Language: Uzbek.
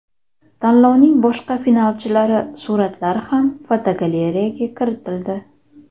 Tanlovning boshqa finalchilari suratlari ham fotogalereyaga kiritildi.